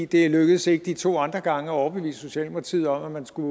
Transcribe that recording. det lykkedes ikke de to andre gange at overbevise socialdemokratiet om at man skulle